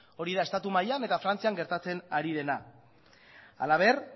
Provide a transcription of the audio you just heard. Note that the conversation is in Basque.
hori da estatu mailan eta frantzian gertatzen ari dena halaber